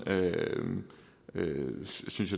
synes